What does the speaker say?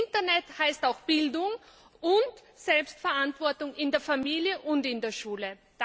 Internet heißt auch Bildung und Selbstverantwortung in der Familie und in der Schule.